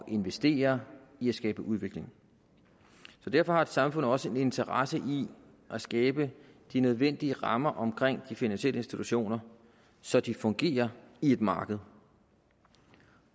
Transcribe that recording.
investere i at skabe udvikling så derfor har et samfund også en interesse i at skabe de nødvendige rammer omkring de finansielle institutioner så de fungerer i et marked